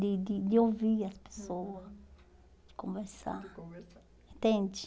de de de ouvir as pessoa, de conversar, de conversar, entende?